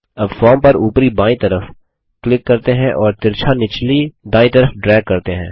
अब फॉर्म पर उपरी बायीं तरफ क्लिक करते हैं और तिरछा निचले दायीं तरफ ड्रैग करते हैं